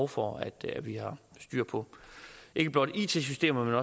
for at vi har styr på ikke blot it systemerne